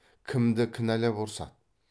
кімді кінәлап ұрсады